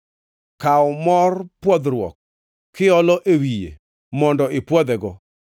Kaw mor pwodhruok kiolo e wiye mondo ipwodhego.